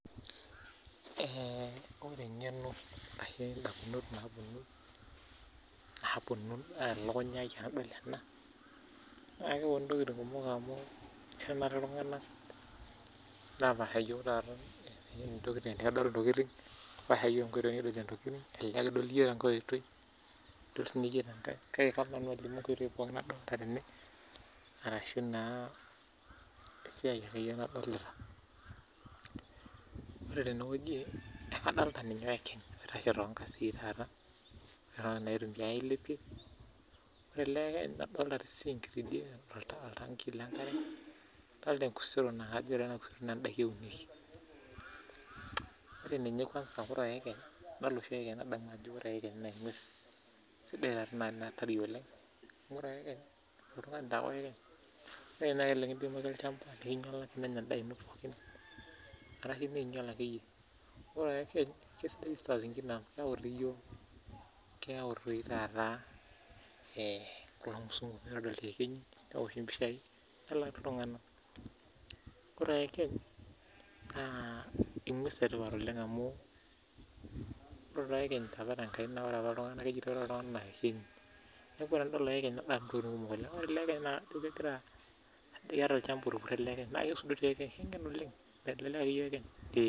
Ore entoki nalotu elukunya ai tenadol ena naa ntokitin kumok. Adolita oyekeny oitashe toorkedet okedishoreki, adolita sii oltanki lenkare nadolita sii enkusero naunishoreki auntie indaiki. Ore enedukuya, ore oyekeny naa engues nanya endaa nauno neeingial sii. Ore sii oyekeny iyawu lashumba ooponu aingor inguesi. Ore sii oyekeny naa engues ngen, eyiolo aisudori anaa oltungani.